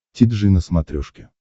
ти джи на смотрешке